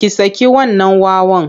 Ki saki wannan wawan!